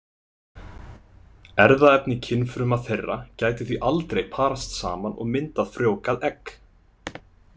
Erfðaefni kynfruma þeirra gæti því aldrei parast saman og myndað frjóvgað egg.